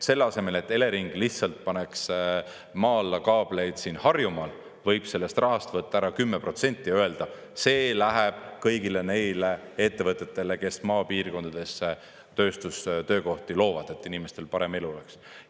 Selle asemel, et Elering lihtsalt paneks maa alla kaableid siin Harjumaal, võib sellest rahast võtta ära 10% ja öelda: see läheb kõigile neile ettevõtetele, kes maapiirkondadesse tööstustöökohti loovad, et inimestel parem elu oleks.